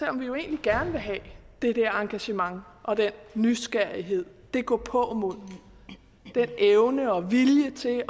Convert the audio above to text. om vi jo egentlig gerne vil have det der engagement og den nysgerrighed det gåpåmod den evne og vilje til at